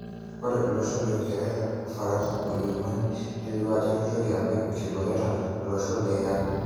Ore loshon leuingereza, Ufaransa o Ujerumani neituria ajo keitoki apik nkiboreta olosho le Iran.